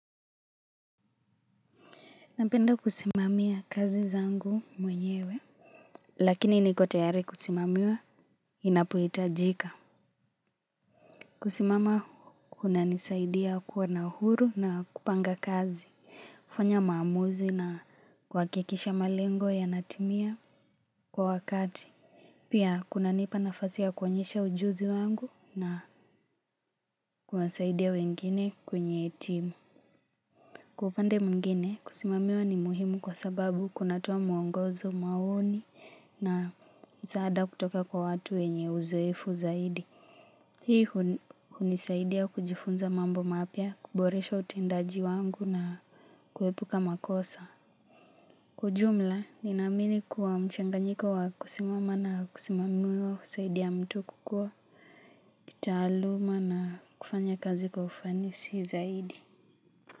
Napenda kusimamia kazi zangu mwenyewe. Lakini niko tayari kusimamiwa inapohitajika. Kusimama kunanisaidia kuwa na uhuru na kupanga kazi. Kufanya maamuzi na kuhakikisha malengo yanatimia kwa wakati. Pia kunanipa nafasi ya kuonyesha ujuzi wangu na kunasaidia wengine kwenye timu. Kwa upanda mwingine kusimamiwa ni muhimu kwa sababu kunatoa mwongozo, maoni na msaada kutoka kwa watu wenye uzoefu zaidi. Hii hunisaidia kujifunza mambo mapya, kuboresha utendaji wangu na kuepuka makosa. Kwa ujumla, ninaamini kuwa mchanganyiko wa kusimama na kusimamiwa husaidia mtu kukua, kitaaluma na kufanya kazi kwa ufanisi zaidi.